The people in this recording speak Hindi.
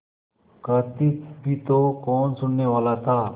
कहती भी तो कौन सुनने वाला था